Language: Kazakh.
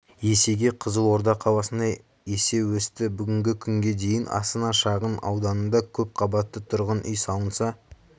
есеге қызылорда қаласында есе өсті бүгінгі күнге дейін астана шағын ауданында көпқабатты тұрғын үй салынса